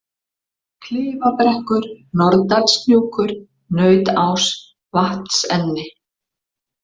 Klifabrekkur, Norðdalshnjúkur, Nautás, Vatnsenni